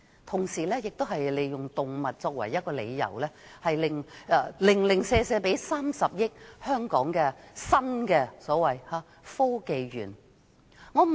同時，政府也是以動物為由，特別撥出30億元給香港科技園公司。